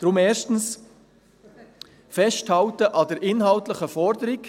Deshalb: Erstens, Festhalten an der inhaltlichen Forderung.